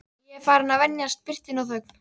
Ég er farinn að venjast birtunni og þögn